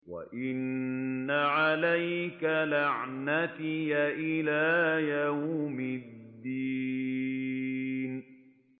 وَإِنَّ عَلَيْكَ لَعْنَتِي إِلَىٰ يَوْمِ الدِّينِ